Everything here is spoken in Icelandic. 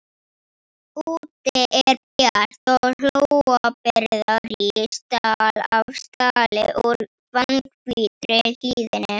Úti er bjart og Hólabyrða rís stall af stalli úr fannhvítri hlíðinni.